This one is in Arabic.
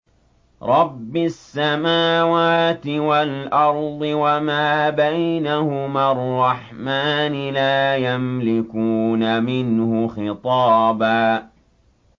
رَّبِّ السَّمَاوَاتِ وَالْأَرْضِ وَمَا بَيْنَهُمَا الرَّحْمَٰنِ ۖ لَا يَمْلِكُونَ مِنْهُ خِطَابًا